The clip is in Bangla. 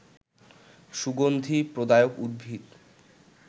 সুগন্ধি প্রদায়ক উদ্ভিদ